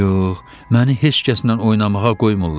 Yox, məni heç kəslə oynamağa qoymurlar.